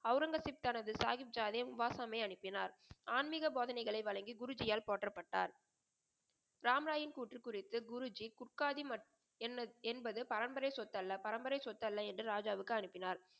அவுரங்கசீப் தனது சாகித் ராவை உபாசமியை அனுப்பினார் ஆன்மிக போதனைகளை வழங்கி குருஜியால் போற்றப்பட்டார். ராம் ராயின் கூற்று குறித்து குருஜி புட்காது மற்றும் என்பது பரம்பரை சொத்து அல்ல. பரம்பரை சொத்து அல்ல என்று ராஜாவுக்கு அனுப்பினார்.